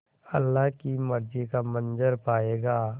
अल्लाह की मर्ज़ी का मंज़र पायेगा